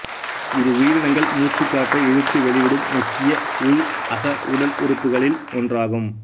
இது உயிரினங்கள் மூச்சுக் காற்றை இழுத்து வெளிவிடும் முக்கிய உள்அக உடல் உறுப்புக்களில் ஒன்றாகும்